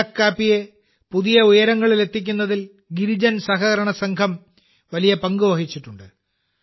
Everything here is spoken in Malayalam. അരക്കു കാപ്പിയെ പുതിയ ഉയരങ്ങളിലെത്തിക്കുന്നതിൽ ഗിരിജൻ സഹകരണസംഘം വലിയ പങ്കുവഹിച്ചിട്ടുണ്ട്